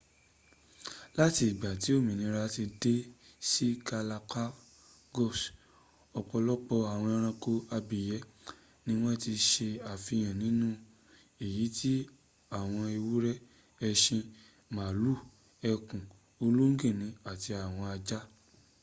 látìgbà tí ọmọnìyàn ti dé sí galapagos ọ̀pọ̀lọpọ̀ àwọn ẹranko abìyẹ́ ni wọ́n ti se àfihàn nínú èyí tí àwọn ewúrẹ́ ẹṣin màálù eku ológìnní àti àwọn ajá